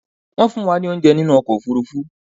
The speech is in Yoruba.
Wọ́n fún wa ní óunjẹ nínú ọkò òfurufú